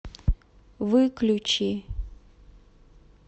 выключи